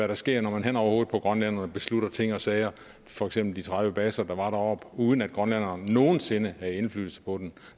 der sker når man hen over hovedet på grønlænderne beslutter ting og sager for eksempel de tredive baser der var deroppe uden at grønlænderne nogen sinde havde indflydelse på dem